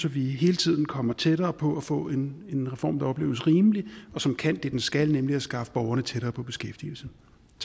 at vi hele tiden kommer tættere på at få en reform der opleves rimelig og som kan det den skal nemlig skaffe borgerne tættere på beskæftigelse